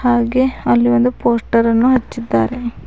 ಹಾಗೆ ಅಲ್ಲಿ ಒಂದು ಪೋಸ್ಟರ್ ಅನ್ನು ಹಚ್ಚಿದ್ದಾರೆ.